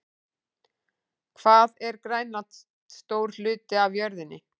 Hvað er Grænland stór hluti af jörðinni?